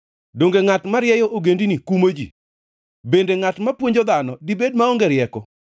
Donge ngʼat marieyo ogendini kumo ji? Bende ngʼat mapuonjo dhano dibed maonge rieko?